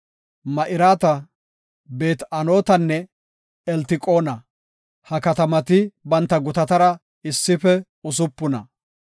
Ma7irata, Beet-Anotanne Eltiqoona. Ha katamati banta gutatara issife usupuna.